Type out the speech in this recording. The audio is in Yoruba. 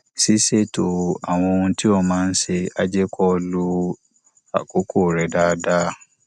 ṣíṣètò àwọn ohun tí o máa ń ṣe á jẹ kó o lo àkókò rẹ dáadáa